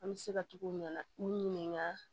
An bɛ se ka tugu u ɲɛna u ɲininka